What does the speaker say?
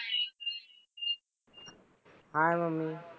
Hi mummy.